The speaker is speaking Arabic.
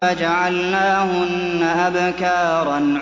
فَجَعَلْنَاهُنَّ أَبْكَارًا